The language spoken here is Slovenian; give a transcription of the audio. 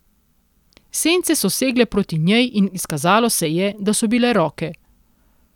Sence so segle proti njej in izkazalo se je, da so bile roke.